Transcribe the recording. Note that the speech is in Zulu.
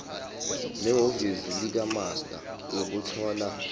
nehhovisi likamaster ukuthola